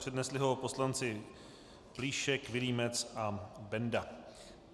Přednesli ho poslanci Plíšek, Vilímec a Benda.